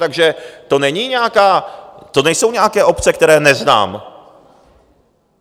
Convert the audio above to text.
Takže to není nějaká... to nejsou nějaké obce, které neznám.